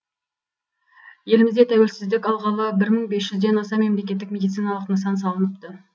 елімізде тәуелсіздік алғалы бір мың бес жүзден аса мемлекеттік медициналық нысан салыныпты